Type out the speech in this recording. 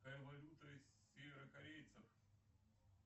какая валюта северокорейцев